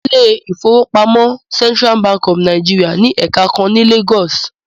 The Central Bank of Nigeria has a branch in Lagos